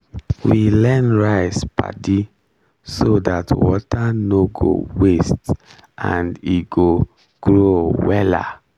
we learn rice paddy so that water no go waste and e go grow wella